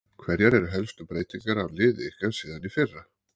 Hverjar eru helstu breytingar á liði ykkar síðan í fyrra?